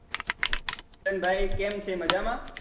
કેમ ભાઈ કેમ છે મજામાં